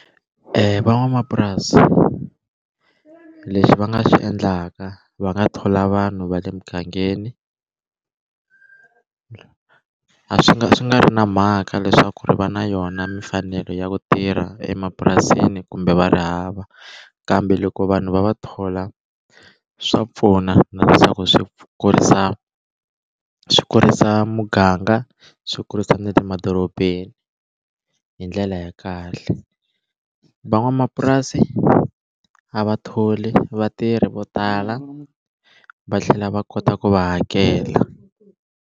van'wamapurasi leswi va nga swi endlaka va nga thola vanhu va le mugangeni a swi nga swi nga ri na mhaka leswaku ri va na yona mimfanelo ya ku tirha emapurasini kumbe va ri hava kambe loko vanhu va va thola swa pfuna na leswaku swi kurisa swi kurisa muganga swi kurisa na le madorobeni hi ndlela ya kahle van'wamapurasi a va tholi vatirhi vo tala va tlhela va kota ku va hakela.